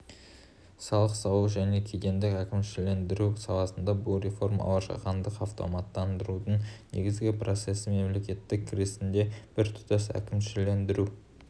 салық салу және кедендік әкімшілендіру саласында бұл реформалар жаһандық автоматтандырудың негізгі процесі мемлекеттік кірістердің біртұтас әкімшілендіру